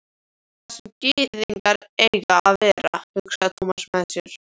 Þar sem gyðingar eiga að vera, hugsaði Thomas með sér.